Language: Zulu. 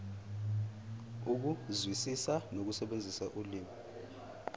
ukuzwisisa nokusebenzisa ulimi